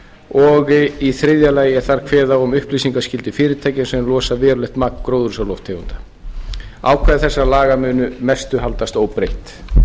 og í þriðja lagi er þar kveðið á um upplýsingaskyldu fyrirtækja sem losa verulegt magn gróðurhúsalofttegunda ákvæði þessara laga munu að mestu haldast óbreytt